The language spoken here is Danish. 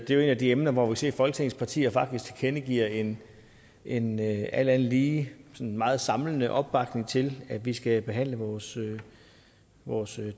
det er et af de emner hvor vi ser at folketingets partier faktisk tilkendegiver en en alt andet lige sådan meget samlende opbakning til at vi skal behandle vores vores